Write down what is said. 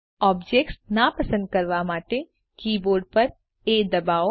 objects નાપસંદ કરવા માટે કીબોર્ડ પર એ પર દબાવો